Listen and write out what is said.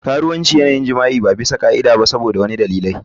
Karuwanci yana yin jima'i ba bisa ka'ida ba saboda wasu dalilai.